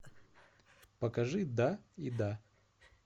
покажи да и да